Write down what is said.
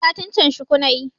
Satin can shuku nayi